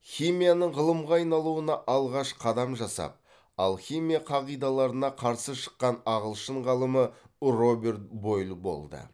химияның ғылымға айналуына алғаш қадам жасап алхимия қағидаларына қарсы шыққан ағылшын ғалымы роберт бойль болды